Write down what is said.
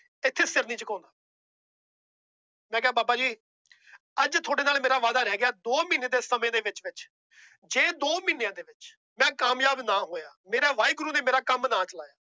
ਇੱਥੇ ਸਿਰ ਨੀ ਝੁਕਾਉਂਦਾ ਮੈਂ ਕਿਹਾ ਬਾਬਾ ਜੀ ਅੱਜ ਤੁਹਾਡੇ ਨਾਲ ਮੇਰਾ ਵਾਅਦਾ ਰਹਿ ਗਿਆ ਦੋ ਮਹੀਨੇ ਦੇ ਸਮੇਂ ਦੇ ਵਿੱਚ ਵਿੱਚ ਜੇ ਦੋ ਮਹੀਨਿਆਂ ਦੇ ਵਿੱਚ ਮੈਂ ਕਾਮਯਾਬ ਨਾ ਹੋਇਆ, ਮੇਰਾ ਵਾਹਿਗੁਰੂ ਨੇ ਮੇਰਾ ਕੰਮ ਨਾ ਚਲਾਇਆ